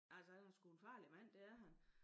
Altså han er sgu en farlig mand det er han